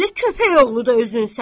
Belə köpək oğlu özün sənsən.